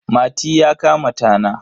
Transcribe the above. Mati ya kama tana.